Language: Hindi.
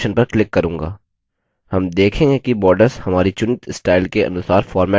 हम देखेंगे कि borders हमारी चुनित स्टाइल के अनुसार formatted हो गये हैं